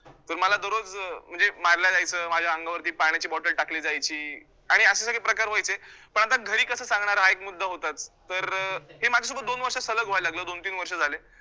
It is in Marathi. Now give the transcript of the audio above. तर मला दररोज अं म्हणजे मारलं जायचं, माझ्या अंगावरती पाण्याची bottle टाकली जायची आणि असे सगळे प्रकार व्हायचे, पण आता घरी कसं सांगणार हा एक मुद्दा होताच तर अं हे माझ्या सोबत दोन वर्षात सलग व्हायला लागलं दोनतीन वर्ष झाले